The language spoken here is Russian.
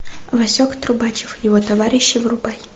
васек трубачев и его товарищи врубай